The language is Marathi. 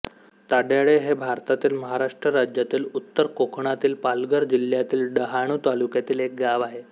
ताड्याळे हे भारतातील महाराष्ट्र राज्यातील उत्तर कोकणातील पालघर जिल्ह्यातील डहाणू तालुक्यातील एक गाव आहे